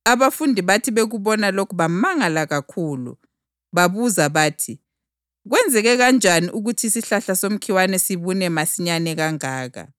Abafundi bathi bekubona lokhu bamangala kakhulu. Babuza bathi, “Kwenzeke kanjani ukuthi isihlahla somkhiwa sibune masinyane kangaka?”